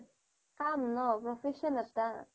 কাম ন' profession এটা